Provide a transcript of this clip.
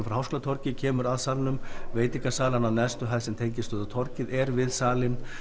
frá Háskólatorgi kemur að salnum veitingasalan á neðstu hæð sem tengist út á torgið er við salinn